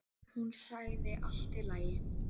Hún sagði allt í lagi.